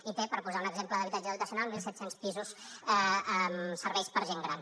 i té per posar un exemple d’habitatge dotacional mil set cents pisos amb serveis per a gent gran